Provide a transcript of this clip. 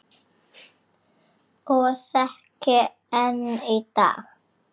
Og þekki enn í dag.